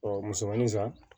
musomaninsan